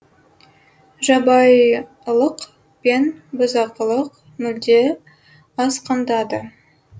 жабайылық пен бұзақылық мүлде асқындады